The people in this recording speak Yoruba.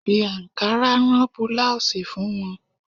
Fi ankara rán búláósì fún wọn.